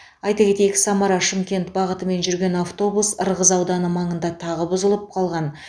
айта кетейік самара шымкент бағатымен жүрген автобус ырғыз ауданы маңында тағы бұзылып қалған